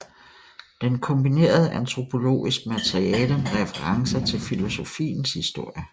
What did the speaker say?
Den kombinerede antropologisk materiale med referencer til filosofiens historie